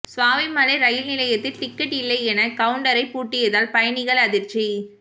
Swamimalai rail நிலையத்தில் ticket இல்லையென கவுன்டரை பூட்டியதால் பயணிகள் அதிர்ச்சி